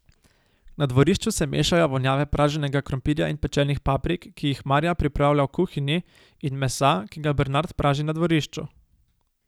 Na dvorišču se mešajo vonjave praženega krompirja in pečenih paprik, ki jih Marja pripravlja v kuhinji, in mesa, ki ga Bernard praži na dvorišču.